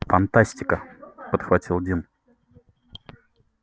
фантастика подхватил дин